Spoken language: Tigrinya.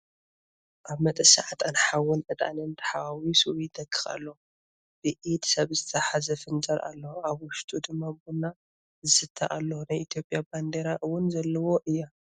ኣብ መጠሻ ዕጣን ሓዊን ዕጣንን ተሓዋዊሱ ይተክክ ኣሎ። ብኢድ ሰብ ዝተተሓዘ ፍንጃል ኣሎ ኣብ ውሽጡ ድማ ቡና ዝስተ ኣሎ ናይ ኢትዮጵያ ባንዴራ እውን ዘለዎ እያ።